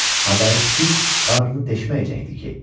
Havayı piti qarnını deşməyəcəkdi ki.